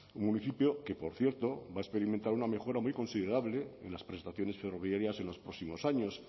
un municipio que por cierto va a experimentar una mejora muy considerable en las prestaciones ferroviarias en los próximos años